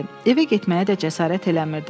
Evə getməyə də cəsarət eləmirdi.